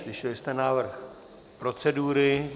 Slyšeli jste návrh procedury.